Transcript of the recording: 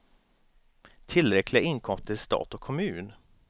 Tillräckliga inkomster till stat och kommun.